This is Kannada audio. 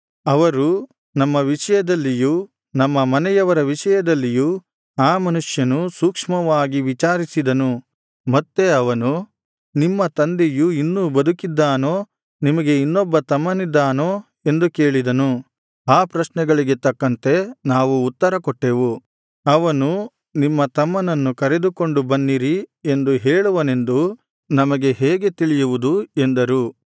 ಅವರು ನಮ್ಮ ವಿಷಯದಲ್ಲಿಯೂ ನಮ್ಮ ಮನೆಯವರ ವಿಷಯದಲ್ಲಿಯೂ ಆ ಮನುಷ್ಯನು ಸೂಕ್ಷ್ಮವಾಗಿ ವಿಚಾರಿಸಿದನು ಮತ್ತೆ ಅವನು ನಿಮ್ಮ ತಂದೆಯು ಇನ್ನೂ ಬದುಕಿದ್ದಾನೋ ನಿಮಗೆ ಇನ್ನೊಬ್ಬ ತಮ್ಮನಿದ್ದಾನೋ ಎಂದು ಕೇಳಿದನು ಆ ಪ್ರಶ್ನೆಗಳಿಗೆ ತಕ್ಕಂತೆ ನಾವು ಉತ್ತರಕೊಟ್ಟೆವು ಅವನು ನಿಮ್ಮ ತಮ್ಮನನ್ನು ಕರೆದುಕೊಂಡು ಬನ್ನಿರಿ ಎಂದು ಹೇಳುವನೆಂದು ನಮಗೆ ಹೇಗೆ ತಿಳಿಯುವುದು ಎಂದರು